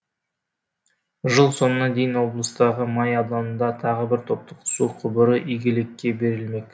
жыл соңына дейін облыстағы май ауданында тағы бір топтық су құбыры игілікке берілмек